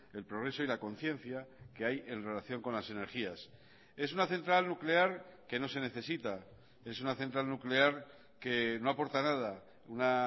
el progreso y la conciencia que hay en relación con las energías es una central nuclear que no se necesita es una central nuclear que no aporta nada una